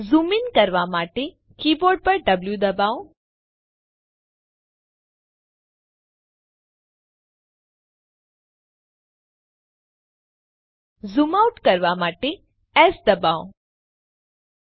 zoom in કરવા માટે keyboard પર વો દબાવો ઝૂમ આઉટ કરવા માટે એસ ડબાઓ